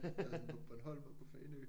Jeg var sådan på Bornholm og på Fanø